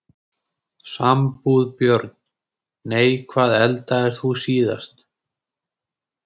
Sambúð Börn: Nei Hvað eldaðir þú síðast?